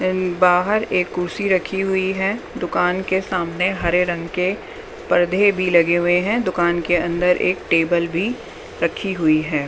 बाहर एक कुर्सी रखी हुई है दुकान के सामने हरे रंग के पर्दे भी लगे हुए हैं दुकान के अंदर एक टेबल भी रखी हुई है।